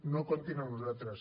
no comptin amb nosaltres